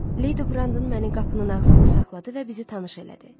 Lady Brandon məni qapının ağzında saxladı və bizi tanış elədi.